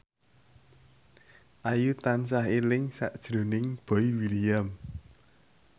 Ayu tansah eling sakjroning Boy William